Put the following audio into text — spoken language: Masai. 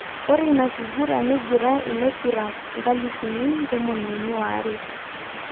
Ore ina kiguran neingura ilangurak nkalishuni tomoniuni oare.